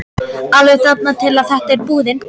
Alveg þangað til að þetta er búið.